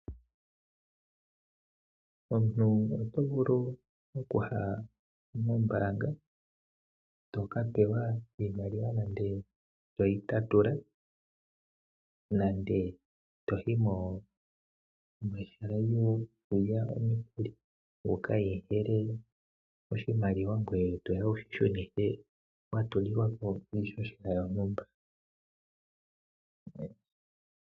Omuntu oto vulu okuya mombaanga to ka pewa iimaliwa to yi tatula nenge to yi mehala lyokulya omukuli wu ka hehele oshimaliwa ngoye to ke shi shunithwa kwa gwedhwa iihohela.